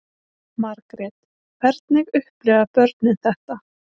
Margrét: Hvernig upplifa börnin þetta?